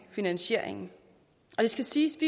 finansieringen det skal siges